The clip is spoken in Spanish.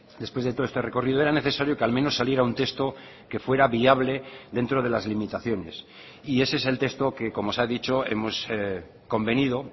después de todo este recorrido era necesario que al menos saliera un texto que fuera viable dentro de las limitaciones y ese es el texto que como se ha dicho hemos convenido